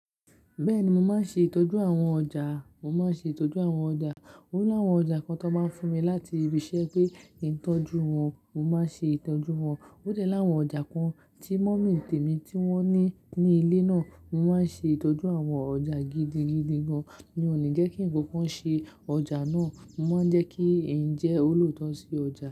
Bẹ́ẹ̀ni, mo máa ń ṣe ìtọ́jú àwọn ọjà. Mo máa ń ṣe ìtọ́jú àwọn ọjà. Oni àwọn ọjà kan tó máa ń fún mi láti ibi ṣe pé ìtọ́jú wọn, mo máa ń ṣe ìtọ́jú wọn. Ó dẹ́ láwọn ọjà kan tí mummydi mí tí wọ́n ní ní ilé naa. Mo máa ń ṣe ìtọ́jú àwọn ọjà gidigidi gan. Mi ò ní jẹ́ kí ǹkan kan ṣe ọjà náà, mo máa ń jẹ́ kí ẹ̀ ń jẹ́ olùtọ́jú si ọjà.